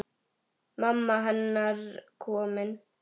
Mamma hennar komin.